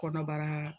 Kɔnɔbara